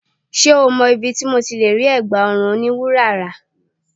Ṣé o mọ ibi tí mo ti lè rí ẹ̀gbá ọrùn oní wúrà rà?